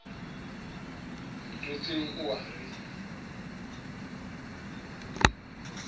mo tswetseng o a re